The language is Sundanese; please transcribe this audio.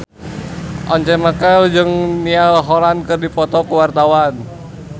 Once Mekel jeung Niall Horran keur dipoto ku wartawan